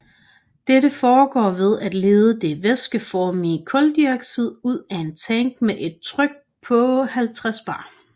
Dette foregår ved at lede det væskeformige kuldioxid ud af en tank med et tryk på 50 bar